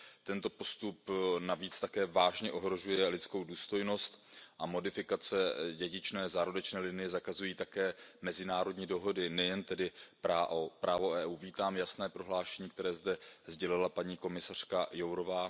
Tento postup navíc také vážně ohrožuje lidskou důstojnost a modifikace dědičné zárodečné linie zakazují také mezinárodní dohody, nejen tedy právo EU. Vítám jasné prohlášení, které zde sdělila paní komisařka Jourová.